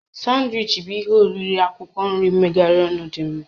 Sanwichi bụ ihe oriri akwụkwọ nri mmegharị ọnụ dị mma